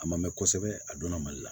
A ma mɛn kosɛbɛ a donna mali la